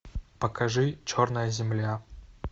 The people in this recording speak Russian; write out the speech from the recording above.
покажи черная земля